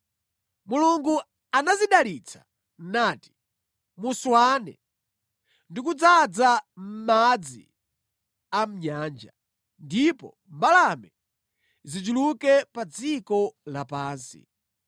Mulungu anazidalitsa nati, “Muswane, ndi kudzaza mʼmadzi a mʼnyanja, ndipo mbalame zichuluke pa dziko lapansi.”